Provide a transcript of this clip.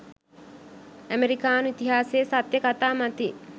අමෙරිකානු ඉතිහාසයේ සත්‍ය කතා මතින්